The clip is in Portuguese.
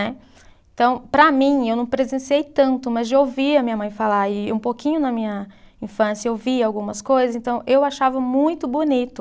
Né. Então, para mim, eu não presenciei tanto, mas de ouvir a minha mãe falar, e um pouquinho na minha infância eu vi algumas coisas, então eu achava muito bonito,